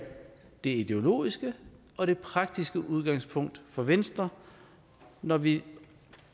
det ideologiske og det praktiske udgangspunkt for venstre når vi